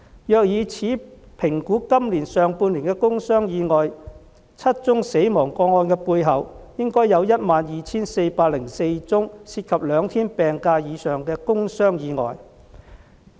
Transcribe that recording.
若以此評估今年上半年的工傷意外 ，7 宗死亡個案的背後，應有 12,404 宗涉及兩天病假以上的工傷意外。